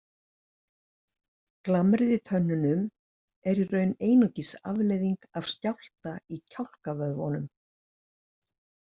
Glamrið í tönnunum er í raun einungis afleiðing af skjálfta í kjálkavöðvunum.